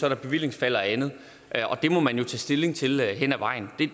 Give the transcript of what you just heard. et bevillingsfald og andet og det må man jo tage stilling til hen ad vejen